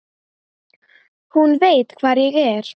Hún veit hvar ég er.